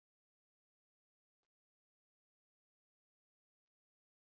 Kunni hann spænskuna fyrir eða er hann svona fljótur að pikka þetta upp?